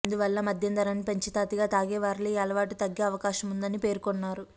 అందువల్ల మద్యం ధరను పెంచితే అతిగా తాగేవారిలో ఈ అలవాటు తగ్గే అవకాశముందని పేర్కొన్నారు